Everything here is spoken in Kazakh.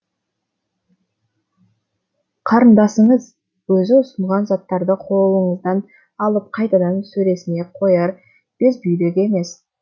қарындасыңыз өзі ұсынған заттарды қолыңыздан алып қайтадан сөресіне қояр безбүйрек емес